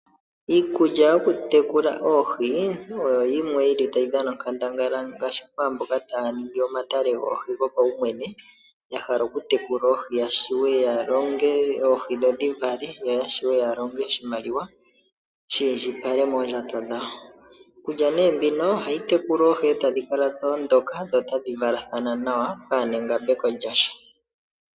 Iikulya yokutekula oohi oyo yimwe yi li tayi dhana onkandangala ngaashi kwaamboka taya ningi omatale goohi gopaumwene, ya hala okutekula oohi ya wape ya longe oohi, dho dhi vale. Ya wape ya longe oshimaliwa she shi kale moondjato dhawo. Iikulya nee mbino ohayi tekula oohi, e tadhi kala dha ondoka dho tadhi valathana nawa pwaana engambeko lyasha.